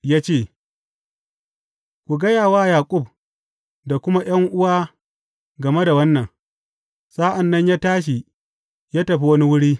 Ya ce, Ku gaya wa Yaƙub da kuma ’yan’uwa game da wannan, sa’an nan ya tashi ya tafi wani wuri.